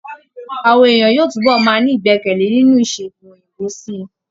Âwọn èèyàn yóò tún bọ̀ máa ní ìgbẹkẹ̀lé nínú ìṣègùn òyìnbó sí i